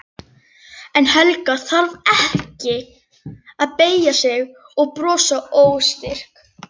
En Helga þarf ekki að beygja sig og brosa óstyrk.